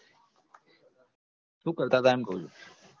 શું કરતા હતા એમ કહું છુ?